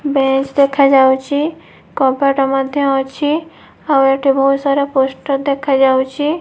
ବେଶ୍ ଦେଖାଯାଉଛି କବାଟ ମଧ୍ୟ ଅଛି ଆଉ ଏଠି ବହୁତ ସାରା ପୋଷ୍ଟର ଦେଖା ଯାଉଛି।